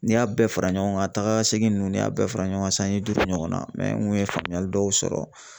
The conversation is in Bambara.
N'i y'a bɛɛ fara ɲɔgɔn kan tagakasegin ninnu ni y'a bɛɛ fara ɲɔgɔn kan sanji duuru ɲɔgɔnna mɛ n kun ye faamuyali dɔw sɔrɔ